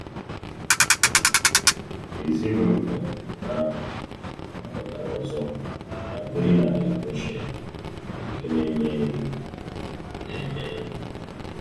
Ezinụlọ ahụ gbakọtara ọzọ ma biri n’ala Goshenu nke na-eme nri. na-eme nri.